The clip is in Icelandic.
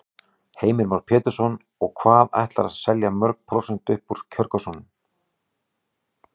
Heimir Már Pétursson: Og hvað ætlarðu að telja mörg prósent upp úr kjörkössunum?